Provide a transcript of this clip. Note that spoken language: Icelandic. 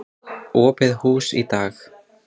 Opið hús í dag.